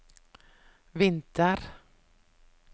vinter